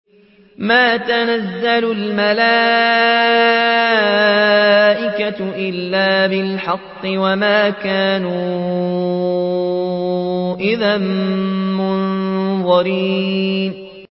مَا نُنَزِّلُ الْمَلَائِكَةَ إِلَّا بِالْحَقِّ وَمَا كَانُوا إِذًا مُّنظَرِينَ